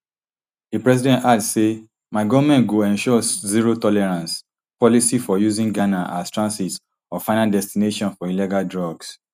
di president add say my goment go ensure zero tolerance policy for using ghana as transit or final destination for illegal drugs